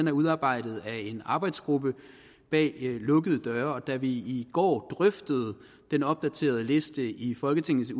er udarbejdet af en arbejdsgruppe bag lukkede døre da vi i går drøftede den opdaterede liste i folketingets